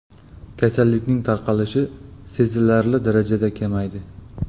Kasallikning tarqalishi sezilarli darajada kamaydi.